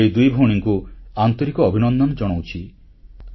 ମୁଁ ଏଇ ଦୁଇ ଭଉଣୀଙ୍କୁ ଆନ୍ତରିକ ଅଭିନନ୍ଦନ ଜଣାଉଛି